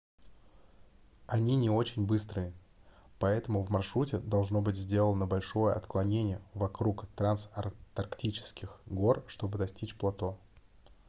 они не очень быстрые поэтому в маршруте должно быть сделано большое отклонение вокруг трансантарктических гор чтобы достичь плато